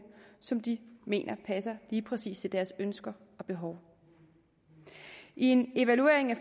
som de mener passer lige præcis til deres ønsker og behov i en evaluering af